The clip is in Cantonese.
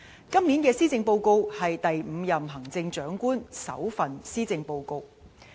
今年的施政報告是第五任行政長官的首份施政報告。